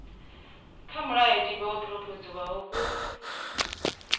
kwa mulayotibe wo phurophoziwaho ku